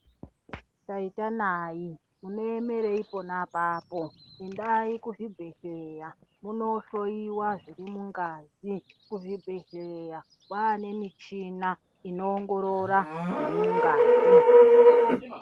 Taita nai munoemeri pona apapo endai kuzvibheleya munohloyiwa zviri mungazi kuzvibhehleya kwaane michina inoongorora zvirimungazi